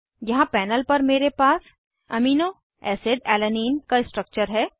यहाँ पैनल पर मेरे पास एमिनोएसिड अलानाइन का स्ट्रक्चर है